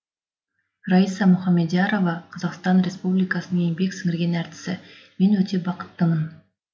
раиса мұхамедиярова қазақстан республикасының еңбек сіңірген әртісі мен өте бақыттымын